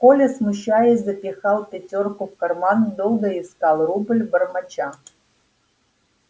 коля смущаясь запихал пятёрку в карман долго искал рубль бормоча